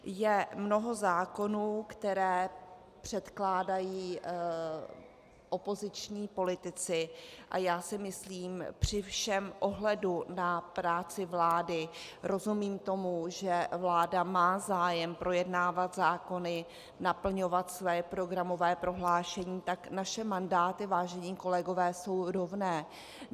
Je mnoho zákonů, které předkládají opoziční politici, a já si myslím, při všem ohledu na práci vlády, rozumím tomu, že vláda má zájem projednávat zákony, naplňovat své programové prohlášení - tak naše mandáty, vážení kolegové, jsou rovné.